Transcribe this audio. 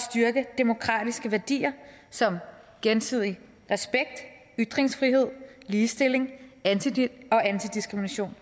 styrke de demokratiske værdier som gensidig respekt ytringsfrihed ligestilling og antidiskrimination